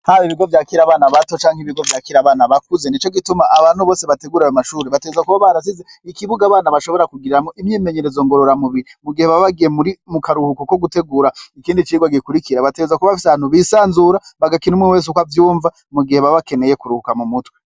Haba ibigo vyakira abana bato canke ibigo vyakira abana bakuze, nico gituma abantu bose bategura ayo mashure bategerezwa kuba barasize ikibuga abana bashobora kugiramwo imyimenyerezo ngorora mubiri mu gihe baba bagiye mu karuhuko ko gutegura ikindi cigwa gikurikira, bategerezwa kuba bafise ahantu bisanzura bagakina umwe wese uko avyumva mu gihe baba bakeneye kuruhuka mu mutwe.